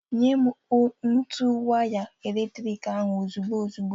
Nyem ntu waya eletrik ahụ ozugbo ozugbo!